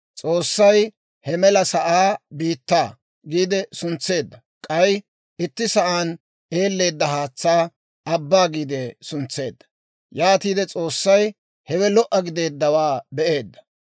S'oossay he mela sa'aa «Biittaa» giide suntseedda; k'ay itti sa'aan eelleedda haatsaa «Abbaa» giide suntseedda. Yaatiide S'oossay hewe lo"a gideeddawaa be'eedda.